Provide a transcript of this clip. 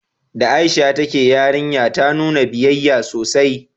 Da Aisha ta ke yarinya, ta nuna biyayya sosai